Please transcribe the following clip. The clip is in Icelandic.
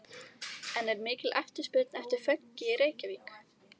En er mikil eftirspurn eftir fönki í Reykjavík?